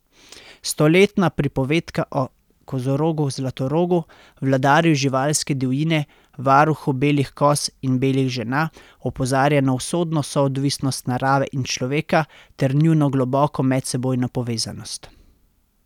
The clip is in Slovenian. Stoletna pripovedka o kozorogu Zlatorogu, vladarju živalske divjine, varuhu belih koz in belih žena, opozarja na usodno soodvisnost narave in človeka ter njuno globoko medsebojno povezanost.